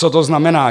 Co to znamená?